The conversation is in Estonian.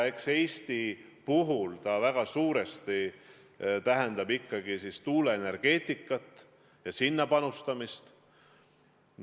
Eks see Eestis väga suurel määral tähendab ikkagi tuuleenergeetikat ja sellesse panustamist.